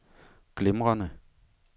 glimrende